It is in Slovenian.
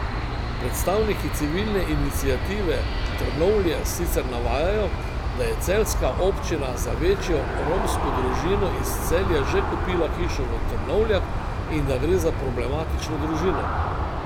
Predstavniki civilne iniciative Trnovlje sicer navajajo, da je celjska občina za večjo romsko družino iz Celja že kupila hišo v Trnovljah in da gre za problematično družino.